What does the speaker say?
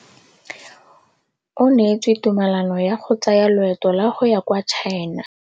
O neetswe tumalanô ya go tsaya loetô la go ya kwa China.